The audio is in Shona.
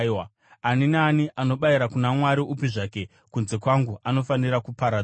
“Ani naani anobayira kuna mwari upi zvake kunze kwangu anofanira kuparadzwa.